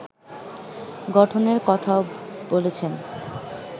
গঠনের কথাও বলেছেন